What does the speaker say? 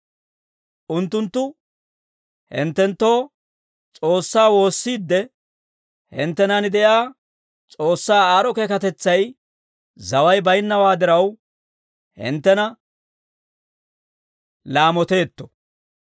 Unttunttu hinttenttoo S'oossaa woossiidde, hinttenan de'iyaa S'oossaa aad'd'o keekatetsay zaway bayinnawaa diraw, hinttena laamoteetto.